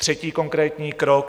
Třetí konkrétní krok.